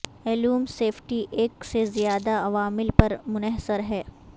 ایلوم safety ایک سے زیادہ عوامل پر منحصر ہے